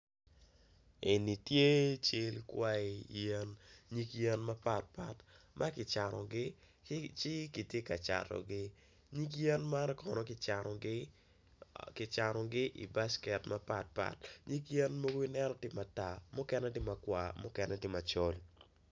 Eni tye kwayo yen mapatpat ma kicanogi kitye ka catogi nyig yen ma kicanogi i baket mukene tye ma kwa mukene tye macol